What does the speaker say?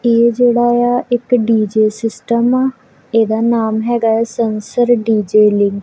ਏ ਜਿਹੜਾ ਆ ਇੱਕ ਡੀਜੇ ਸਿਸਟਮ ਆ ਇਹਦਾ ਨਾਮ ਹੈਗਾ ਹੈ ਸੰਸਸਰ ਡੀਜੇਲਿੰਗ ।